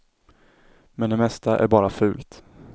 Men det mesta är bara fult.